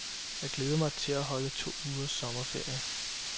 Jeg glæder mig til at holde to ugers sommerferie.